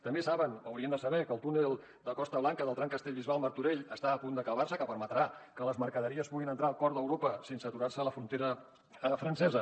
també saben o haurien de saber que el túnel de costa blanca del tram castellbisbal martorell està a punt d’acabar se que permetrà que les mercaderies puguin entrar al cor d’europa sense aturar se a la frontera francesa